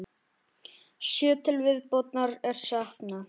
Sjö til viðbótar er saknað.